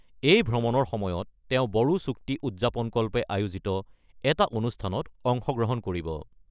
এই ভ্ৰমণৰ সময়ত তেওঁ বড়ো চুক্তি উদযাপনকল্পে আয়োজিত এটা অনুষ্ঠানত অংশগ্ৰহণ কৰিব।